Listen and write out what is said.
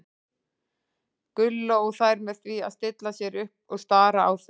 Gulla og þær með því að stilla sér upp og stara á þau.